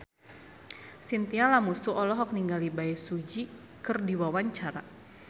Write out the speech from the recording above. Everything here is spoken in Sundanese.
Chintya Lamusu olohok ningali Bae Su Ji keur diwawancara